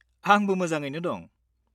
आंबो मोजाङैनो दं।